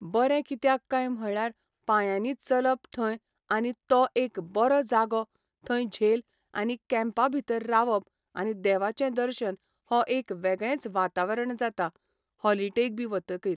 बरे कित्याक कांय म्हणल्यार पांयांनी चलप थंय आनी तो एक बरो जागो थंय झेल आनी कँपां भितर रावप आनी देवाचें दर्शन हो एक वेगळेंच वातावरण जाता हॉलिडेक बी वतगीर